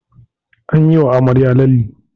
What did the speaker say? An yi wa amarya lalle